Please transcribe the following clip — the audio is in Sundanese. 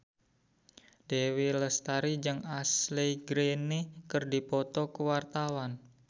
Dewi Lestari jeung Ashley Greene keur dipoto ku wartawan